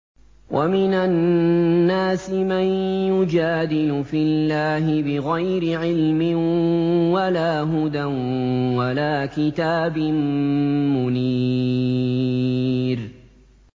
وَمِنَ النَّاسِ مَن يُجَادِلُ فِي اللَّهِ بِغَيْرِ عِلْمٍ وَلَا هُدًى وَلَا كِتَابٍ مُّنِيرٍ